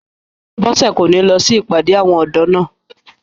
Bọ́sẹ̀ kò ní lọ sí ìpàdé àwọn ọ̀dọ́ náà